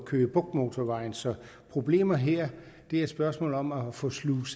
køge bugt motorvejen så problemet her er spørgsmålet om at få sluset